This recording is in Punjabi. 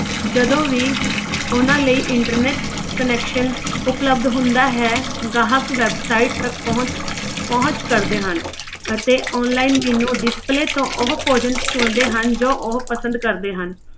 ਜਦੋਂ ਵੀ ਉਹਨਾਂ ਲਈ internet connection ਉਪਲਬਧ ਹੁੰਦਾ ਹੈ ਗਾਹਕ website ਤੱਕ ਪਹੁੰਚ ਪਹੁੰਚ ਕਰਦੇ ਹਨ ਅਤੇ online menu display ਤੋਂ ਉਹ ਭੋਜਨ ਚੁਣਦੇ ਹਨ ਜੋ ਉਹ ਪਸੰਦ ਕਰਦੇ ਹਨ।